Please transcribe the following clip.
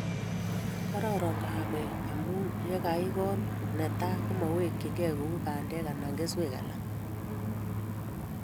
kororon kahawek omu yekaikool netai komaiwekchinigei kou bandek anan keswek alak